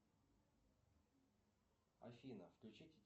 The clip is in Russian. афина включить